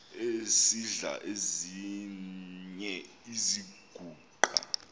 esidl eziny iziguqa